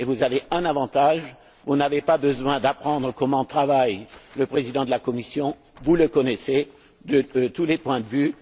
Vous avez un avantage vous n'avez pas besoin d'apprendre comment travaille le Président de la Commission, vous le connaissez à tous points